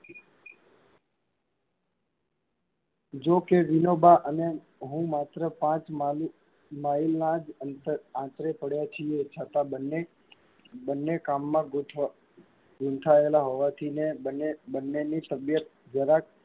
જો કે વિનોબાં અને હું માત્ર પાંચ mile નાં જ અંતર આંતરે પડ્યાં છીયે, છતાં બન્ને બન્ને કામમાં ગૂં~ગૂંથાયેલા હોવાથી બંને~બંનેની તબિયત જરાક,